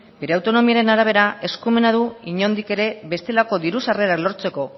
bere autonomiaren arabera eskumena du inondik ere bestelako diru sarrera lortzeko